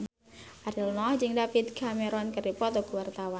Ariel Noah jeung David Cameron keur dipoto ku wartawan